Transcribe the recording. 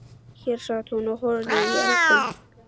Hér sat hún og horfði í eldinn.